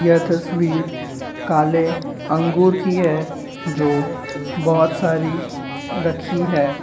यह तस्वीर काले अंगूर की है। जो बहुत सारी रखी है।